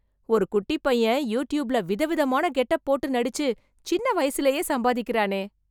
ஒரு குட்டிப் பையன் யூட்யூப்ல விதவிதமான கெட்டப் போட்டு நடிச்சு, சின்ன வயசுலயே சம்பாதிக்கறானே...